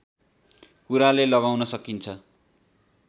कुराले लगाउन सकिन्छ